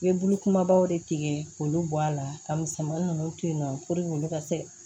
I ye bulukumabaw de tigɛ k'olu bɔ a la ka misɛmanin ninnu to yen nɔ purke olu ka se